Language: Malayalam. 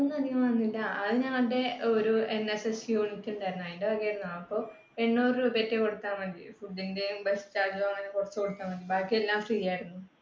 ചെലവൊന്നും അധികം വന്നില്ല. അത് ഞങ്ങടെ ഒരു NSS unit ഉണ്ടായിരുന്നു. അയിന്റെ വകയാരുന്നു. അപ്പൊ എണ്ണൂറ് രൂപേറ്റെ കൊടുത്താൽ മതിയായിരുന്നു. food ന്റെ bus charge അങ്ങനെ കുറച്ചു കൊടുത്താൽ മതിയായിരുന്നു ബാക്കി എല്ലാം free ആയിരുന്നു.